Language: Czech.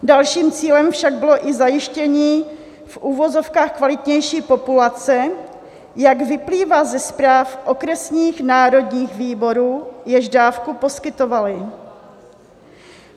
Dalším cílem však bylo i zajištění v uvozovkách kvalitnější populace, jak vyplývá ze zpráv okresních národních výborů, jež dávku poskytovaly.